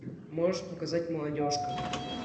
можешь показать молодежка